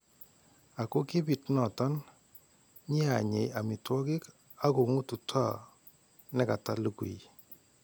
Ako kibiit noton , nyeanyei amiitwokik akong'ututoo nekataa lukuyi.